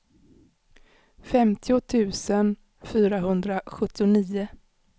femtio tusen fyrahundrasjuttionio